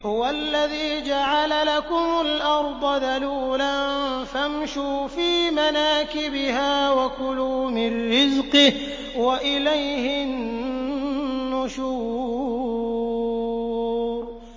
هُوَ الَّذِي جَعَلَ لَكُمُ الْأَرْضَ ذَلُولًا فَامْشُوا فِي مَنَاكِبِهَا وَكُلُوا مِن رِّزْقِهِ ۖ وَإِلَيْهِ النُّشُورُ